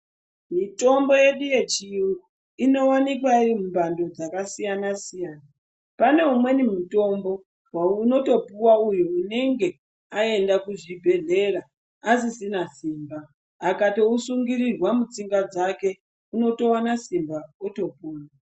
Mitombo yedu yechiyungu inowanikwa iri mumhando dzakasiyana-siyana. Pane umweni mutombo unotoouwa uyu anenge aenda kuzvibhehlera asisina simba otopona.